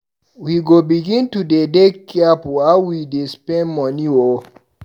We go begin to de dey careful how we dey spend money o.